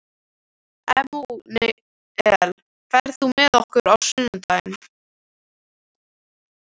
Emanúel, ferð þú með okkur á sunnudaginn?